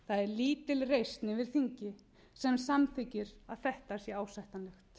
lítil reisn yfir þingi sem samþykkir að þetta sé ásættanlegt það eru nefnilega svo